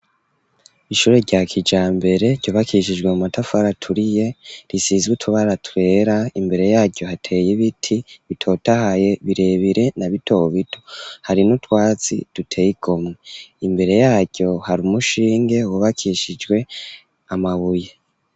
Ishure, rya kijambere, ryubakishijwe, mu matafari aturiye, risizwe utubara twera, imbere yaryo, hateye ibiti, bitotahaye, birebire, na bito bito; hari n'utwatsi, duteye igomwe; imbere yaryo, hari umushinge, wubakishijwe, amabuye.